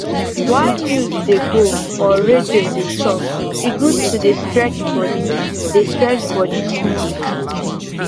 while news dey go or radio dey talk e good to dey stretch body dey stretch body small small